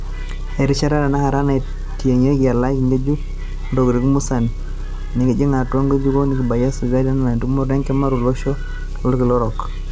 Erishata tenakata naitingiaki elalai ngejuk oontokitin musan nekijing atua ngejuko nekibalunye esajati e iip etumoto enkima toloshon lolkila orok.